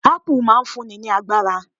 Apple' máa n fún ni ní agbára